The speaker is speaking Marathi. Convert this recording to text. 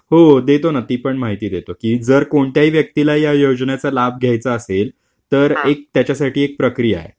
हो देतो ना ती पण माहिती देतो. की जर कोणत्याही व्यक्तीला या योजनेचा लाभ घ्यायचा असेल तर त्याच्यासाठी एक प्रक्रिया आहे.